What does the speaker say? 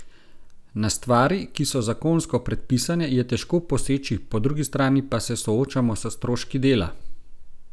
Na stvari, ki so zakonsko predpisane, je težko poseči, po drugi strani pa se soočamo s stroški dela.